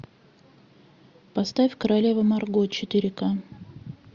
поставь королева марго четыре ка